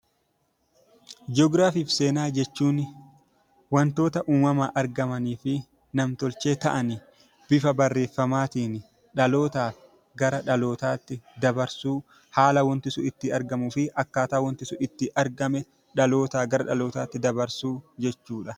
Ji'oogiraafii fi seenaa jechuun waantota uumamaan argamanii fi nam-tolchee ta'an bifa barreeffamaan dhaloota gara dhalootatti dabarsuu, akkataa waanti sun itti argame dhaloota gara dhalootatti dabarsuu jechuudha.